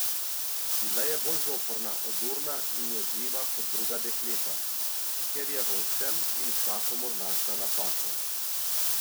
Bila je bolj zoprna, odurna in jezljiva kot druga dekleta, ker je v vsem in vsakomur našla napako.